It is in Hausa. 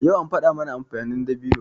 Yau an faɗa mana amfanin dabino.